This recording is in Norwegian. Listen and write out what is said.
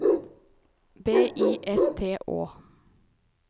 B I S T Å